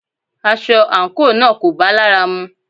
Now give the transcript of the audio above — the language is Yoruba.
Aṣọ àńkò náà kò bá lára mu